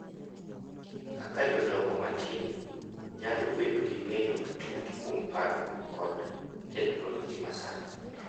Kaka jodongo matin nyalo bedo gi ng’eyo matut kuom paro kod teknoloji ma sani.